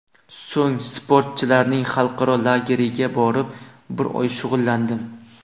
So‘ng sportchilarning xalqaro lageriga borib, bir oy shug‘ullandim.